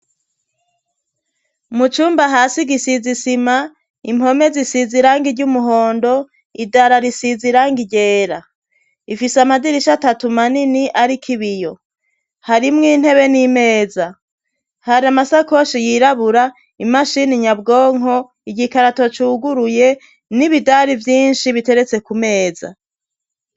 Mu cumba hasi gisize isima impome zisiza irange iry'umuhondo idara risiza irange igera ifise amadirisha atatu manini ariko ibiyo hari mw intebe n'imeza hari amasakoshi yirabura imashini nyabwonko igikarato cuguruye n'ibidari byinshi biteretse ku meza.